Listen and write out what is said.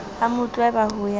a mo tlweba ho ya